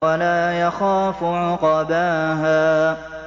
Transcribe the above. وَلَا يَخَافُ عُقْبَاهَا